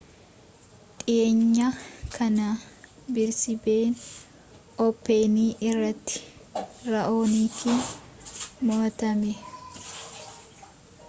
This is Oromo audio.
dhiyeenya kana biriisbeeen ooppenii irrattii ra'oonikiin mo'atame